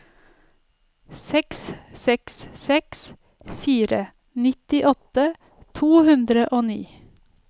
seks seks seks fire nittiåtte to hundre og ni